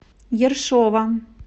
ершова